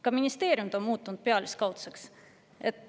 Ka ministeeriumid on muutunud pealiskaudseks.